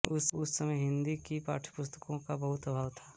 उस समय हिन्दी की पाठ्यपुस्तकों का बहुत अभाव था